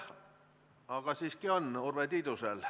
Aga siiski on Urve Tiidusel.